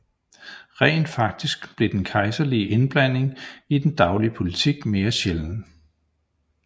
Rent faktisk blev den kejserlige indblanding i den daglige politik mere sjælden